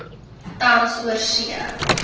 tans oorsee